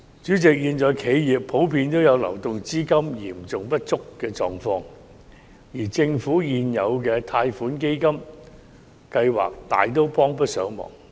主席，現時企業普遍有流動資金嚴重不足的狀況，而政府現有的貸款基金計劃大都幫不上忙。